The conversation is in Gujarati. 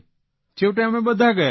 છેવટે અમે બધા ગયા